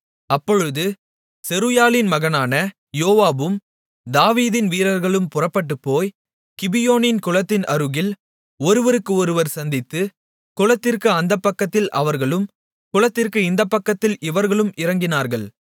அப்பொழுது செருயாளின் மகனான யோவாபும் தாவீதின் வீரர்களும் புறப்பட்டுப்போய் கிபியோனின் குளத்தின் அருகில் ஒருவருக்கு ஒருவர் சந்தித்து குளத்திற்கு அந்தப்பக்கத்தில் அவர்களும் குளத்திற்கு இந்தப்பக்கத்தில் இவர்களும் இறங்கினார்கள்